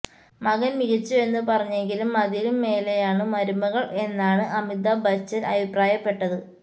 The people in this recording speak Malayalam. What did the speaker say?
മകൻ മികച്ചു എന്ന് പറഞ്ഞെങ്കിലും അതിലും മേലെയാണ് മരുമകൾ എന്നാണ് അമിതാഭ് ബച്ചൻ അഭിപ്രായപ്പെട്ടത്